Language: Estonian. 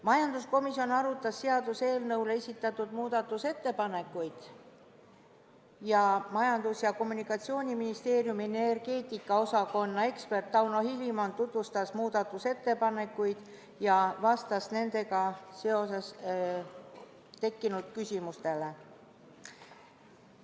Majanduskomisjon arutas seaduseelnõu kohta esitatud muudatusettepanekuid ning Majandus- ja Kommunikatsiooniministeeriumi energeetika osakonna ekspert Tauno Hilimon tutvustas muudatusettepanekuid ja vastas nendega seoses tekkinud küsimustele.